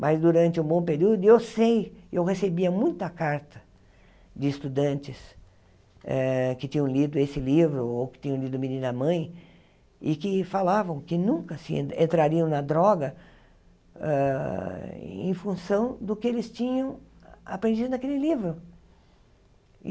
Mas durante um bom período, e eu sei, eu recebia muita carta de estudantes eh que tinham lido esse livro ou que tinham lido Menina Mãe, e que falavam que nunca se entrariam na droga hã em função do que eles tinham aprendido naquele livro.